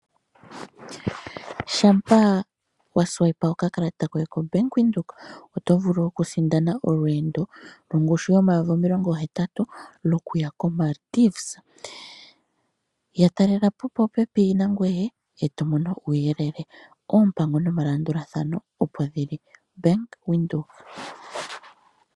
Shampa wa longitha okakalata koye koBank Windhoek okufuta oto vulu okusindana olweendo yongushu yoodola omayovi omilongohetatu lokuya koMaldives. Yatalela popepi nangoye e to mono uuyelele. Oompango nomalandulathano opo dhi li. Bank Windhoek.